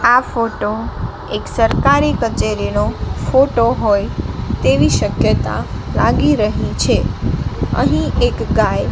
આ ફોટો એક સરકારી કચેરીનો ફોટો હોય તેવી શક્યતા લાગી રહી છે અહીં એક ગાય--